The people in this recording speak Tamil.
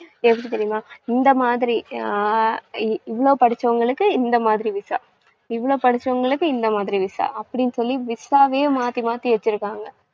எப்படி தெரியுமா? இந்த மாதிரி, ஆஹ் இவ்ளோ படிச்சவங்களுக்கு இந்த மாதிரி visa இவ்ளோ படிச்சவங்களுக்கு இந்த மாதிரி visa அப்படின்னு சொல்லி visa வையே மாத்தி மாத்தி வச்சிருக்காங்க.